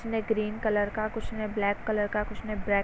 कुछ ने green colour का कुछ ने ब्लैक कलर का कुछ ने ब्रेक --